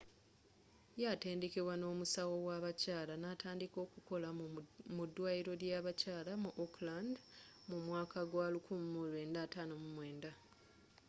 yeatenddekebwa ng'omusawo w'abakyala natandika okolera mu dwaliro ly'a bakyala mu auckland mu mwaka gwa 1959